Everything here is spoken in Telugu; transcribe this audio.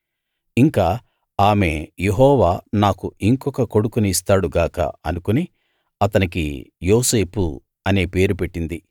ఇంకా ఆమె యెహోవా నాకు ఇంకొక కొడుకుని ఇస్తాడు గాక అనుకుని అతనికి యోసేపు అనే పేరు పెట్టింది